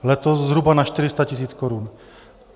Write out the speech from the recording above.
Letos zhruba na 400 tisíc korun.